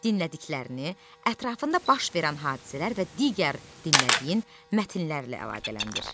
Dinlədiklərini, ətrafında baş verən hadisələr və digər dinlədiyin mətnlərlə əlaqələndir.